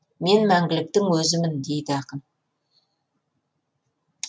мен мәңгіліктің өзімін дейді ақын